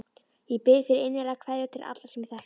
Ég bið fyrir innilegar kveðjur til allra sem ég þekkti.